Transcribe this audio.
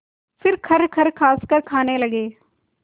फिर खरखर खाँसकर खाने लगे